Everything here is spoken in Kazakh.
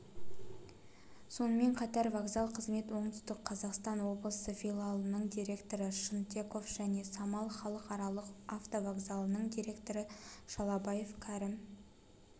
сонымен қатар вокзал қызмет оңтүстік қазақстан облысы филиалыныңдиректоры шынтеков және самал халықаралық автовокзалының директоры шалабаев кәрім